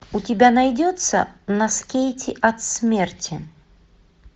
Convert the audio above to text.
у тебя найдется на скейте от смерти